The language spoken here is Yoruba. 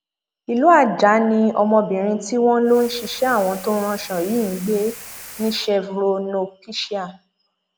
ìlú ajah ni ọmọbìrin tí wọn lọ ń ṣiṣẹ àwọn tó ń ránṣọ yìí ń gbé níchevrónopecia